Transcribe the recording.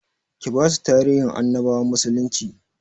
Ki basu tarihin annabawan musulnci